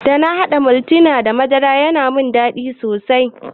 Dana haɗa maltina da madara ya mun dadi sosai.